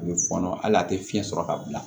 A bɛ fɔɔnɔ hali a tɛ fiyɛn sɔrɔ ka bila